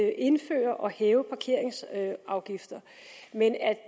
at indføre og hæve parkeringsafgifter men at